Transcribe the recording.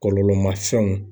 Kɔlɔlɔ ma fɛnw .